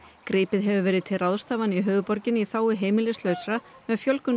gripið hefur verið til ráðstafana í höfuðborginni í þágu heimilislausra með fjölgun